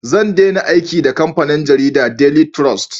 Zan dena aiki da kamfanin jaridan "daily trust"